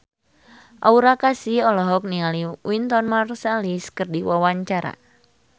Aura Kasih olohok ningali Wynton Marsalis keur diwawancara